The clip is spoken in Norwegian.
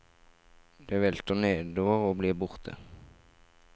Det velter nedover og blir borte.